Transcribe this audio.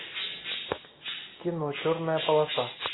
кино черная полоса